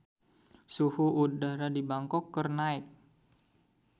Suhu udara di Bangkok keur naek